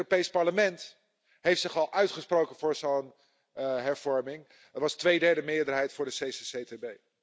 Het Europees Parlement heeft zich al uitgesproken voor zo'n hervorming. Er was een tweederdemeerderheid voor de CCCTB.